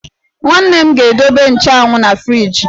Umunne m ga-edobe nchanwụ na friiji.